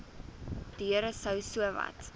deure sou sowat